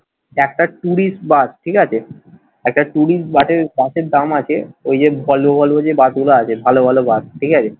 একটা tourist bus ঠিক আছে একটা tourist বাসের বাসের দাম আছে ওই যে ভলভো ভলভো যে বাস গুলো আছে ভালো ভালো বাস ঠিক আছে